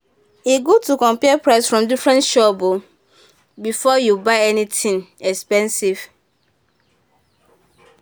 e good to compare price from different shop o before you buy anything expensive.